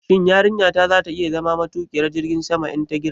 Shin yarinyata za ta iya zama matuƙiyar jirgin sama in ta girma?